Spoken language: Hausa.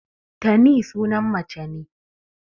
Tani sunan mace ne.